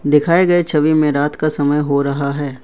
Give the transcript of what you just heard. दिखाए गए छवि में रात का समय हो रहा है।